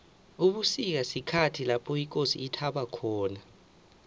ubusika sikhathi lapho ikosi ithaba khona